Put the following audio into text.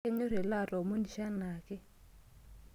Kenyor ele atoomonisho anaake.